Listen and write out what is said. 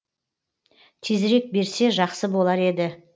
тезірек берсе жақсы болар еді